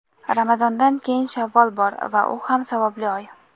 Ramazondan keyin Shavvol bor va u ham savobli oy.